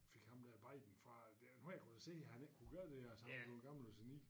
Fik ham der Biden fra enhver kunne da se han ikke kunne gøre altså han var jo gammel og senil